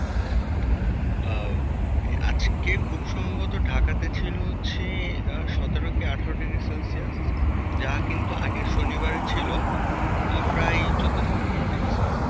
আহ আজকে খুব সম্ভবত ঢাকাতে ছিল হচ্ছে সতের কি আঠারো degrees Celsius যা কিন্তু আগের শনিবারের ছিল প্রায় চোদ্দো থেকে পনেরো degrees Celsius